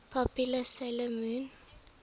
popular 'sailor moon